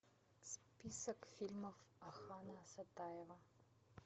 список фильмов акана сатаева